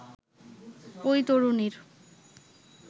ওই তরুণীর